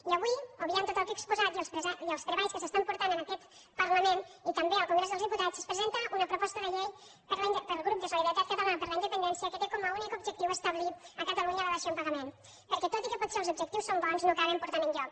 i avui obviant tot el que he exposat i els treballs que s’estan portant en aquest parlament i també al congrés dels diputats es presenta una proposta de llei pel grup de solidaritat catalana per la independència que té com a únic objectiu establir a catalunya la dació en pagament perquè tot i que potser els objectius són bons no acaben portant enlloc